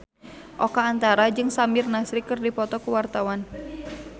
Oka Antara jeung Samir Nasri keur dipoto ku wartawan